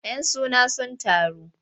Yan suna sun taru.